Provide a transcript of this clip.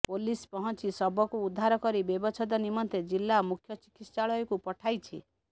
police ପହଞ୍ଚି ଶବକୁ ଉଦ୍ଧାର କରି ବ୍ୟବଚ୍ଛେଦ ନିମନ୍ତେ ଜିଲ୍ଲା ମୁଖ୍ୟ ଚିକିତ୍ସାଳୟକୁ ପଠାଇଛି